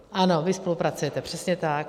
Ano, vy spolupracujete, přesně tak.